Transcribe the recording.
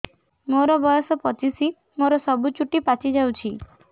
ମୋର ବୟସ ପଚିଶି ମୋର ସବୁ ଚୁଟି ପାଚି ଯାଇଛି